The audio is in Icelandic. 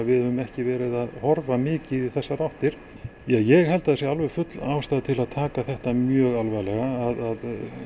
við höfum ekki verið að horfa mikið í þessar áttir ég held að það sé alveg full ástæða til að taka þetta mjög alvarlega að